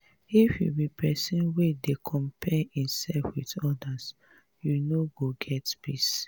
if you be pesin wey dey compare imself with odas you no go get peace.